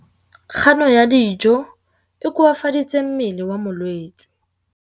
Kganô ya go ja dijo e koafaditse mmele wa molwetse.